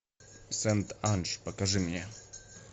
сэнт анж покажи мне